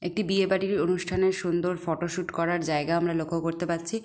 একটি বিয়েবাড়ির অনুষ্ঠানের সুন্দর ফটো শুট করার জায়গা আমরা লক্ষ্য করতে পারছি।